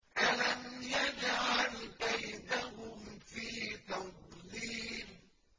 أَلَمْ يَجْعَلْ كَيْدَهُمْ فِي تَضْلِيلٍ